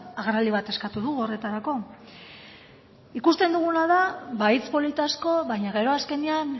agerraldi bat eskatu dugu horretarako ikusten duguna da ba hitz polit asko baina gero azkenean